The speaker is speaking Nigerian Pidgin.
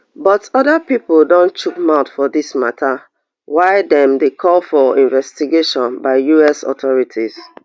but oda pipo don chook mouth for dis mata wia dem dey call for investigation by us authorities